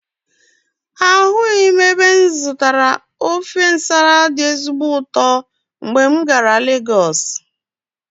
Ahụghị m ebe m zụtara ofe Nsala dị ezigbo ụtọ mgbe m gara Legọsụ.